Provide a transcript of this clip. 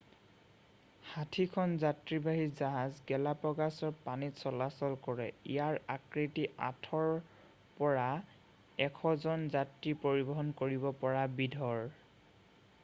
60খন যাত্ৰীবাহী জাহাজ গালাপাগ'ছৰ পানীত চলাচল কৰে ইয়াৰ আকৃতি 8ৰ পৰা 100 জন যাত্ৰী পৰিবহন কৰিব পৰা বিধৰ